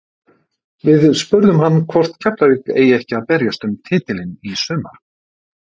Við spurðum hann hvort Keflavík eigi ekki að berjast um titilinn í sumar?